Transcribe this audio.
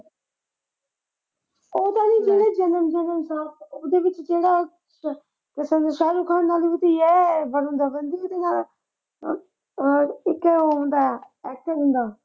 ਜਨਮ ਜਨਮ ਸਾਥ ਉਹਦੇ ਵਿੱਚ ਕਿਹੜਾ ਪਤਾ ਨਈਂ ਸ਼ਾਹਰੁਖ ਖਾਨ ਨਾਲ ਵੀ ਏਹ . ਉਹ ਅਹ ਇੱਕ ਉਹ ਹੁੰਦਾ ਅਕਸ਼ੈ ਹੁੰਦਾ